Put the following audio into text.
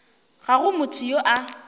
ga go motho yo a